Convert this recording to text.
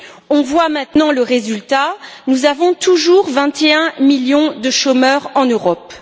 On voit maintenant le résultat, nous avons toujours 21 millions de chômeurs en Europe.